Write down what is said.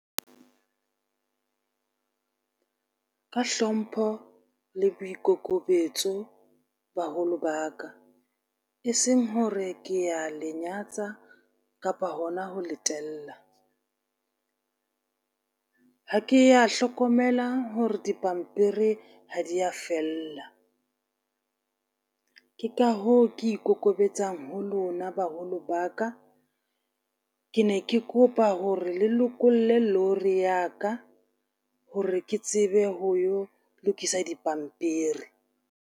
Ka hlompho le boikokobetso, baholo ba ka, e seng hore ke ya le nyatsa kapa hona ho letela. Ha ke ya hlokomela hore dipampiri ha di ya fella. Ke ka hoo, ke ikokobetsang ho lona baholo ba ka, ke ne ke kopa hore le lokolle lorry ya ka hore ke tsebe ho yo lokisa dipampiri.